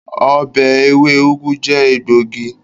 ọbẹ ewe ugu jẹ egbògi.